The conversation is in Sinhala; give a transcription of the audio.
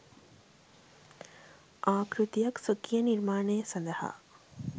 ආකෘතියක් ස්වකීය නිර්මාණය සඳහා